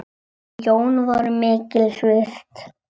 Þau Jón voru mikils virt.